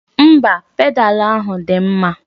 Mba, pedalu ahụ dị mma.